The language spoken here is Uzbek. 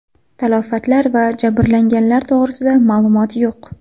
Talafotlar va jabrlanganlar to‘g‘risida ma’lumot yo‘q.